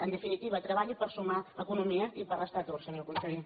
en definitiva treballi per sumar economia i per restar atur senyor conseller